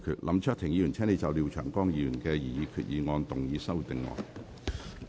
林卓廷議員，請就廖長江議員的擬議決議案動議修訂議案。